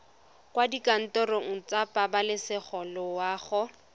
kwa dikantorong tsa pabalesego loago